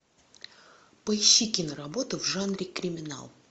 поищи киноработу в жанре криминал